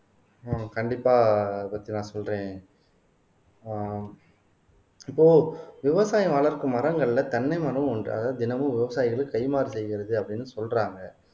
ஆஹ் கண்டிப்பா பத்தி நான் சொல்றேன் ஆஹ் இப்போ விவசாயம் வளர்க்கும் மரங்கள்ல தென்னை மரம் ஒன்று அதாவது தினமும் விவசாயிகளை கைமாறு செய்கிறது அப்படீன்னு சொல்றாங்க